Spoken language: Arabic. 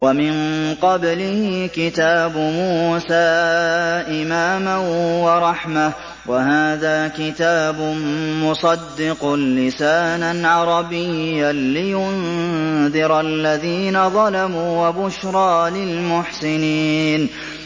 وَمِن قَبْلِهِ كِتَابُ مُوسَىٰ إِمَامًا وَرَحْمَةً ۚ وَهَٰذَا كِتَابٌ مُّصَدِّقٌ لِّسَانًا عَرَبِيًّا لِّيُنذِرَ الَّذِينَ ظَلَمُوا وَبُشْرَىٰ لِلْمُحْسِنِينَ